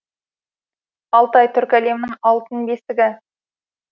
алтай түркі әлемінің алтын бесігі